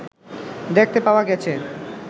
দেখতে পাওয়া গেছে